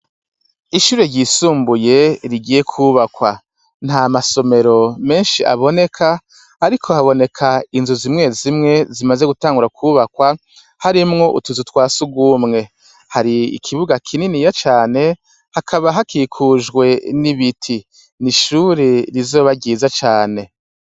Ishure ryisumbuye rigiye kwubakwa. Nta masomero menshi aboneka, ariko haboneka inzu zimwe zimwe, zimaze gutangura kwubakwa, harimwo utuzu twa surwumwe. Hari ikibuga kininiya cane, hakaba hakikujwe n'ibiti. Ishure rizoba ryiza cane.